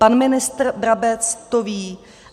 Pan ministr Brabec to ví.